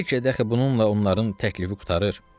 Bəlkə dəxi bununla onların təklifi qurtarır.